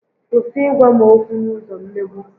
Kwụsị ị gwa m okwu n'ụzọ mmegbu!